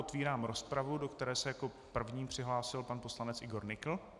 Otevírám rozpravu, do které se jako první přihlásil pan poslanec Ivan Nykl.